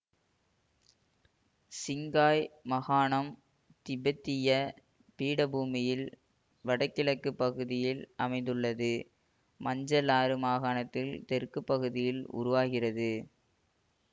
சிங்காய் மாகாணம் திபெத்திய பீடபூமியின் வடகிழக்கு பகுதியில் அமைந்துள்ளது மஞ்சள் ஆறு மாகாணத்தில் தெற்கு பகுதியில் உருவாகிறது